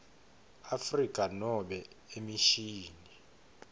afrika nobe emishini